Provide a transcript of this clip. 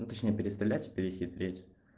ну точнее переставлять перехитрить